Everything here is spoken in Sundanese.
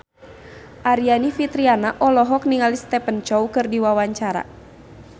Aryani Fitriana olohok ningali Stephen Chow keur diwawancara